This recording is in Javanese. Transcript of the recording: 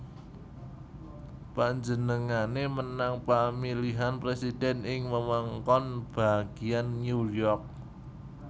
Panjenengané menang pamilihan presiden ing wewengkon bagian New York